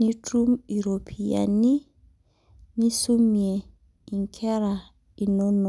nitum iropiyiani, nisumie inkera inonok.